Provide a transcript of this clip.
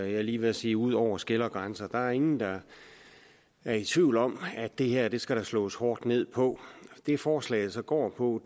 jeg er lige ved at sige ud over skel og grænser der er ingen der er i tvivl om at det her skal der slås hårdt ned på det forslaget går på